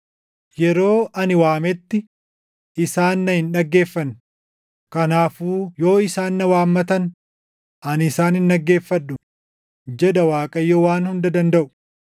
“ ‘Yeroo ani waametti, isaan na hin dhaggeeffanne; kanaafuu yoo isaan na waammatan ani isaan hin dhaggeeffadhu’ jedha Waaqayyo Waan Hunda Dandaʼu.